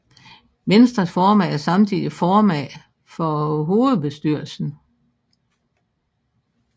Venstres formand er samtidig formand for hovedbestyrelsen